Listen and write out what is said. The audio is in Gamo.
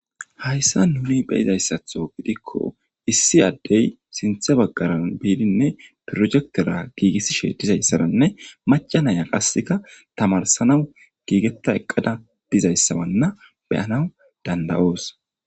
hayssa nuni be'izayssatho gidikko issi addey sinthe baggaran biidinne projektera giigissishe dizayssaranne macanaya qasseka tamarsanawu giigetta eqqada dizayssabanna be'anaw danda'oos